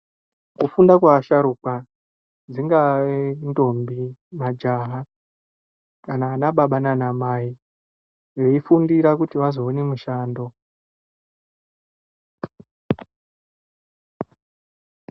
Kufunda kwevasharukwa dzingava ndombi majaha kana ana baba nana Mai veifundira kuti vazoona mushando.